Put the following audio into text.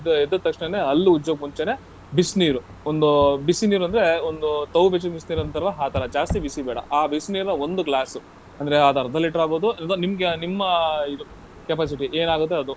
ಅದ್ ಎದ್ದ ತಕ್ಷಣನೆ ಹಲ್ಲು ಉಜ್ಜೋಕ್ ಮುಂಚೆನೆ, ಬಿಸ್ನೀರು ಒಂದು ಬಿಸಿ ನೀರುಂದ್ರೆ ಒಂದು ತವ್ ಬಿಸಿ ಬಿಸಿ ನೀರುಂತರಲ್ಲ ಆ ತರ ಜಾಸ್ತಿ ಬಿಸಿ ಬೇಡ ಆ ಬಿಸಿ ನೀರನ್ನ ಒಂದು glass ಅಂದ್ರೆ ಅದ್ ಅರ್ಧ ಲೀಟರ್ ಆಗ್ಬೋದು, ಅಲ್ವಾ ನಿಮ್ಗೆ, ನಿಮ್ಮ ಇದು capacity ಏನಾಗತ್ತೆ ಅದು.